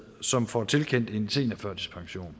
som får tilkendt en seniorførtidspension